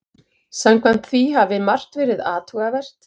Samkvæmt því hafi margt verið athugavert